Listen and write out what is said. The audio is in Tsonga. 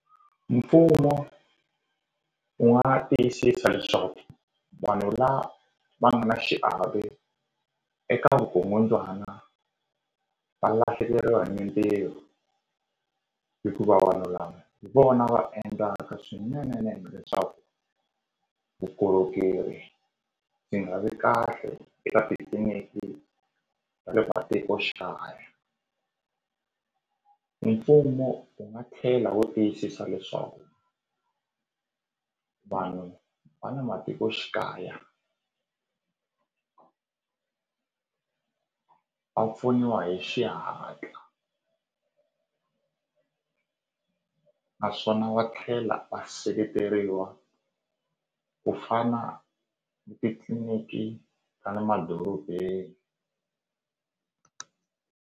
Mfumo wu nga tiyisisa leswaku vanhu la va nga na xiave eka vukungundzwana va lahlekeriwa hi mintirho hikuva vanhu lava hi vona va endlaka swinene nene leswaku vukorhokeri byi nga vi kahle eka titliliniki ta le matikoxikaya hi mfumo wu nga tlhela wu tiyisisa leswaku vanhu va le matikoxikaya va pfuniwa hi xihatla naswona va tlhela va seketeriwa ku fana ni titliliniki ta le madorobeni.